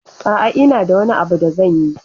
A'a, ina da wani abu da zanyi.